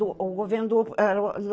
O o governou doou era o